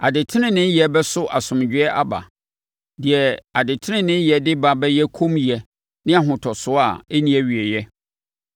Adeteneneeyɛ bɛso asomdwoeɛ aba; deɛ adeteneneeyɛ de ba bɛyɛ kommyɛ ne ahotosoɔ a ɛnni awieeɛ.